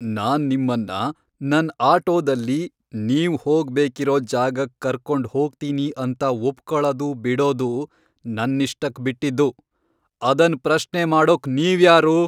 ನಾನ್ ನಿಮ್ಮನ್ನ ನನ್ ಆಟೋದಲ್ಲಿ ನೀವ್ ಹೋಗ್ಬೇಕಿರೋ ಜಾಗಕ್ ಕರ್ಕೊಂಡ್ ಹೋಗ್ತೀನಿ ಅಂತ ಒಪ್ಕೊಳದು ಬಿಡೋದು ನನ್ನಿಷ್ಟಕ್ ಬಿಟ್ಟಿದ್ದು. ಅದನ್ ಪ್ರಶ್ನೆ ಮಾಡೋಕ್ ನೀವ್ಯಾರು?